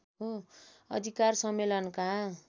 अधिकार सम्मेलनका